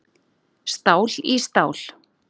Stál í stál